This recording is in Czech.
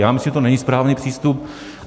Já myslím, že to není správný přístup.